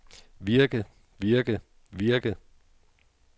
virke virke virke